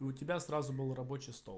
и у тебя сразу был рабочий стол